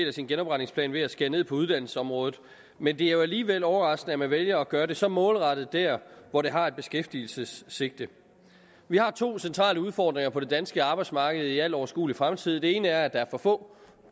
af sin genopretningsplan ved at skære ned på uddannelsesområdet men det er nu alligevel overraskende at man vælger at gøre det så målrettet dér hvor det har et beskæftigelsessigte vi har to centrale udfordringer på det danske arbejdsmarked i al overskuelig fremtid den ene er at der er for få